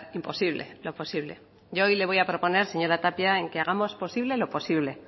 imposible lo posible yo hoy le voy a proponer señora tapia en que hagamos posible lo posible